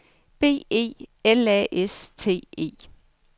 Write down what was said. B E L A S T E